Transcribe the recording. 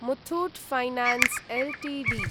Muthoot finance Ltd